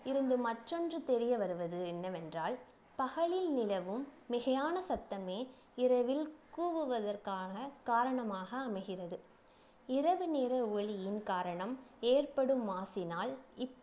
இருந்து மற்றொன்று தெரிய வருவது என்னவென்றால் பகலில் நிலவும் மிகையான சத்தமே இரவில் கூவுவதற்கான காரணமாக அமைகிறது இரவு நேர ஒலியின் காரணம் ஏற்படும் மாசினால்